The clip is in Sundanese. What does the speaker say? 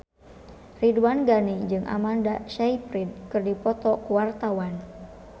Ridwan Ghani jeung Amanda Sayfried keur dipoto ku wartawan